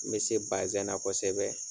N be se baazɛn kɔsɛbɛ